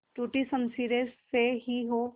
टूटी शमशीरें से ही हो